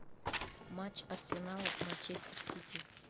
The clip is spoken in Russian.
матч арсенала с манчестер сити